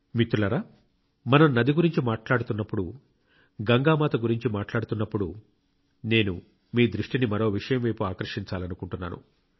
మిత్రులారా మనం నది గురించి మాట్లాడుతున్నప్పుడు గంగామాత గురించి మాట్లాడుతున్నప్పుడు నేను మీ దృష్టిని మరో విషయం వైపు ఆకర్షించాలనుకుంటున్నాను